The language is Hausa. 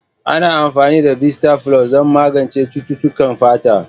Ana amfani da bisita flus don magance cututtukan fata.